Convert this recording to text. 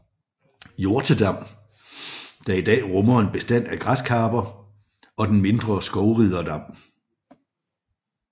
Hjortedam der i dag rummer en bestand af græskarper og den mindre Skovriderdam